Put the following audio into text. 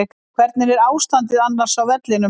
Hvernig er ástandið annars á vellinum?